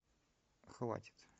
хватит